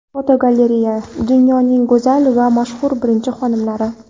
Fotogalereya: Dunyoning go‘zal va mashhur birinchi xonimlari.